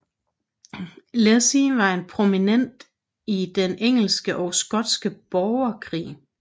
Leslie var en prominent i den engelske og skotske brogerkrig